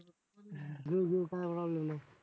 घेऊ घेऊ काय problem नाही.